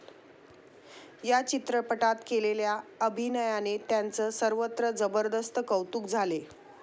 या चित्रपटात केलेल्या अभिनयाने त्याचं सर्वत्र जबरदस्त कौतुक झाले.